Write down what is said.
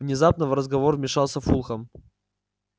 внезапно в разговор вмешался фулхам